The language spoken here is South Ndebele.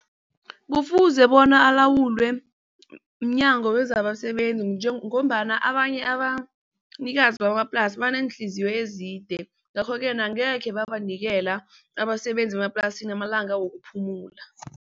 Kufuze bona alawulwe mnyango wezabasebenzi ngombana abanye abanikazi bamaplasi abaneenhliziyo ezide. Ngakho-ke na angekhe babanikela abasebenzi bemaplasini amalanga wokuphumula.